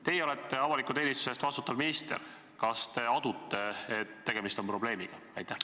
Teie olete avaliku teenistuse eest vastutav minister, kas te adute, et tegemist on probleemiga?